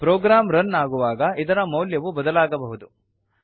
program run ಆಗುವಾಗ ಇದರ ಮೌಲ್ಯವು ಬದಲಾಗಬಹುದು